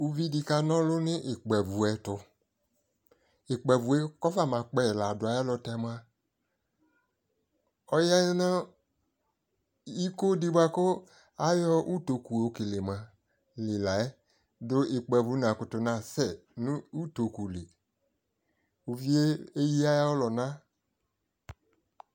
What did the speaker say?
Uvi di kanʋlʋ nʋ ikpavu ɛ tʋ Ikpavʋ e kɔfama kpɛ yi ladu ayɛlʋtɛ mʋa, ɔya nʋ iko di buakʋ ayɔ utokʋ yokeleyi mʋa li la yɛ dʋ ikpavu nakʋtʋ nasɛ nʋ utokʋ li Uvie eyi ayɔlʋna